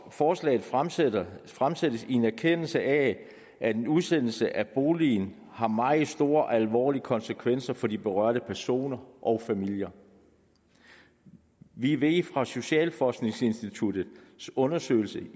forslaget fremsættes fremsættes i en erkendelse af at en udsættelse af boligen har meget store alvorlige konsekvenser for de berørte personer og familier vi ved fra socialforskningsinstituttets undersøgelse